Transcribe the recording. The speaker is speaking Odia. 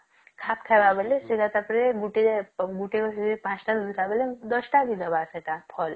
ଖାପ ଖାଇବା ବୋଲେ ସେଇଟା ତାପରେ ଗୁଟିଏ ଗୁଟିର ପାଞ୍ଚଟା ବେଳେ ଦଶଟା ଦେଇଦେବା ସେଟା ଫଲ